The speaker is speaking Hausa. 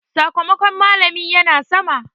Sakamakon malami ya na sama.